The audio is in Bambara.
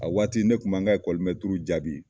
A waati ne kun m'an ka jaabi